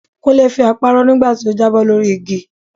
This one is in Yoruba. Kúnlé fi apá rọ́ nígbà tó jábọ́ lórí igi